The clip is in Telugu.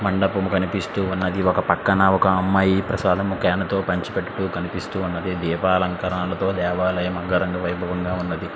ఇక్కడ మండపం కనిపిస్తున్నది ఒక పక్కన అమ్మాయి ప్రసాదం చన్ తో ప్రసాదం పంచి పెట్టు తునాతు కనిపిస్తున్నది దీపాలంకరణ తో దేవాలయం అందంగా ఉన్నది .